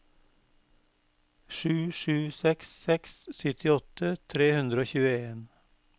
sju sju seks seks syttiåtte tre hundre og tjueen